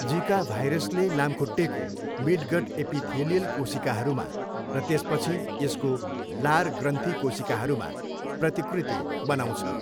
जिका भाइरसले लामखुट्टेको मिडगट एपिथेलियल कोशिकाहरूमा र त्यसपछि यसको लार ग्रन्थि कोशिकाहरूमा प्रतिकृति बनाउँछ।